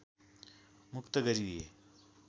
मुक्त गरिदिए